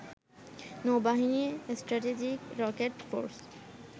নৌবাহিনী, strategic rocket force